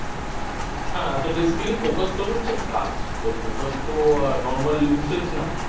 হ্যাঁ তো Basically Focus তোর হচ্ছে কাজ তোর Focus তো Normal Usage না